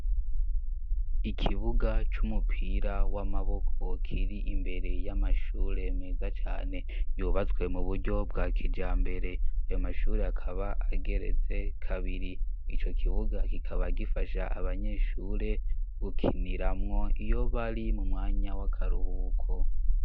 ikibuga c'umupira w'amaboko kirimbere y'amashure meza cane yubatswe muburyo bwakijambere ayo mashuri akaba ageretse kabiri ico kibuga kikaba gifasha abanyeshure gukiniramwo iyo bari mumwanya w'akaruhuuko